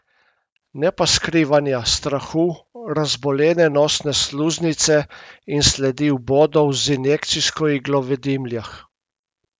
Ne pa skrivanja, strahu, razbolene nosne sluznice in sledi vbodov z injekcijsko iglo v dimljah.